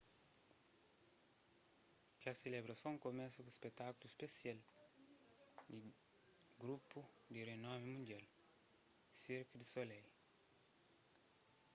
kes selebrason kumesa ku un spetákulu spesial di grupu di rinomi mundial cirque du soleil